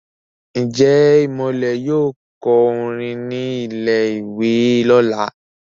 Njé Imole yóò kọ orin ní ilè ìwé lọla?